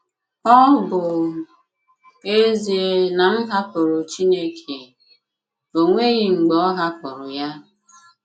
Ọ bụ́ ezie na m hàpụ̀rụ̀ Chineke, ọ nweghị̀ mgbe ọ hàpụ̀rụ̀ ya.